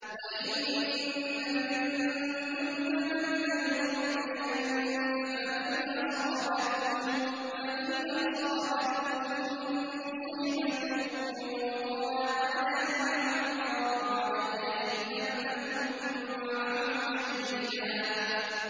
وَإِنَّ مِنكُمْ لَمَن لَّيُبَطِّئَنَّ فَإِنْ أَصَابَتْكُم مُّصِيبَةٌ قَالَ قَدْ أَنْعَمَ اللَّهُ عَلَيَّ إِذْ لَمْ أَكُن مَّعَهُمْ شَهِيدًا